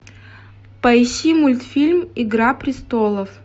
поищи мультфильм игра престолов